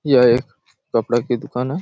यह एक कपड़ा का दुकान हैं।